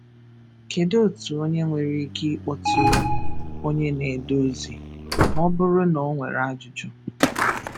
Kedu otu onye nwere ike ịkpọtụrụ onye na-ede ozi ma ọ bụrụ na o nwere ajụjụ